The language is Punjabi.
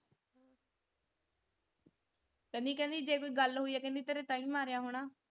ਕਹਿੰਦੀ ਕਹਿੰਦੀ ਜੇ ਕੋਈ ਗੱਲ ਹੋਈ ਆ ਕਹਿੰਦੀ ਤੇਰੇ ਤਾਹੀਂ ਮਾਰਿਆ ਹੋਣਾ।